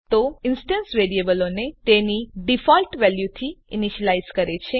તે ઇન્સ્ટેન્સ વેરીએબલોને તેની ડીફોલ્ટ વેલ્યુ થી ઈનીશ્યલાઈઝ કરે છે